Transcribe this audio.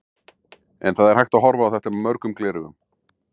En það er hægt að horfa á þetta með mörgum gleraugum.